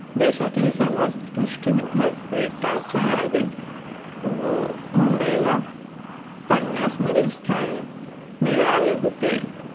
देशाच्या सर्वात्कृष्ट विद्यापीठाच्या यादीत मुंबईला पन्नास मधील स्थान मिळाले होते.